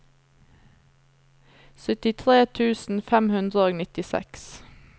syttitre tusen fem hundre og nittiseks